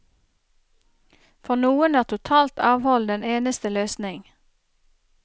For noen er totalt avhold den eneste løsning.